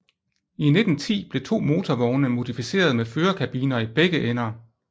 I 1910 blev to motorvogne modificeret med førerkabiner i begge ender